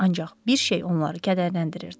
Ancaq bir şey onları kədərləndirirdi.